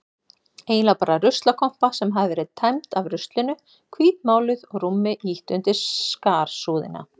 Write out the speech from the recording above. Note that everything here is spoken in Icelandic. Eiginlega bara ruslakompa sem hafði verið tæmd af ruslinu, hvítmáluð og rúmi ýtt undir skarsúðina.